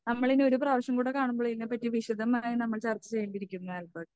നമ്മളിനി ഒരു പ്രാവശ്യം കൂടി കാണുമ്പോൾ ഇതിനെപ്പറ്റി വിശദമായി നമ്മൾ ചർച്ച ചെയ്യേണ്ടിയിരിക്കുന്നു ആൽബർട്ട്.